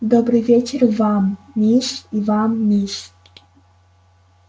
добрый вечер вам мисс и вам мисс